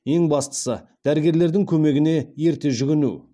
ең бастысы дәрігерлердің көмегіне ерте жүгіну